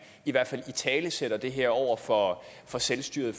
i hvert fald italesætter det her over for for selvstyret